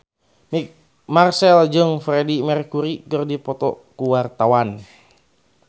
Marchell jeung Freedie Mercury keur dipoto ku wartawan